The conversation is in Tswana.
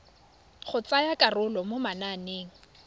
go tsaya karolo mo mananeng